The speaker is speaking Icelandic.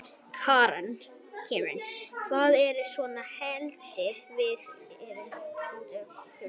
Karen: En hvað er svona heillandi við að vera úti í kuldanum?